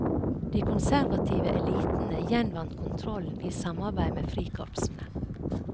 De konservative elitene gjenvant kontrollen i samarbeid med frikorpsene.